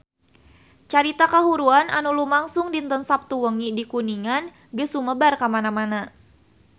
Carita kahuruan anu lumangsung dinten Saptu wengi di Kuningan geus sumebar kamana-mana